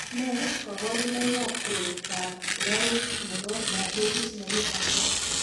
Nee kabarunoikab koroitoab sikaruk nebo Diabetes mellitus 1?